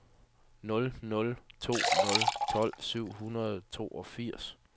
nul nul to nul tolv syv hundrede og toogfirs